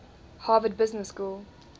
harvard business school